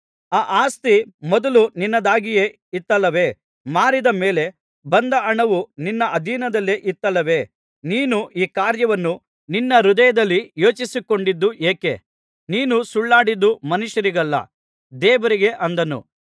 ಆ ಆಸ್ತಿ ಮೊದಲು ನಿನ್ನದಾಗಿಯೇ ಇತ್ತಲ್ಲವೇ ಮಾರಿದ ಮೇಲೆ ಬಂದ ಹಣವು ನಿನ್ನ ಅಧೀನದಲ್ಲೇ ಇತ್ತಲ್ಲವೇ ನೀನು ಈ ಕಾರ್ಯವನ್ನು ನಿನ್ನ ಹೃದಯದಲ್ಲಿ ಯೋಚಿಸಿಕೊಂಡದ್ದು ಏಕೆ ನೀನು ಸುಳ್ಳಾಡಿದ್ದು ಮನುಷ್ಯರಿಗಲ್ಲ ದೇವರಿಗೆ ಅಂದನು